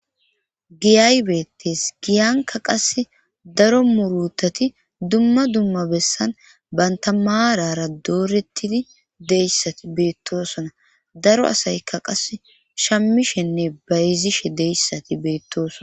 Giyaybeetes giyanka qas daro murutati dumma dumma bessan bantamaarara doorettidi deyssati beettosona daro asaykka qas shammishenne bayzishe deyssati beettosona